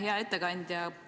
Hea ettekandja!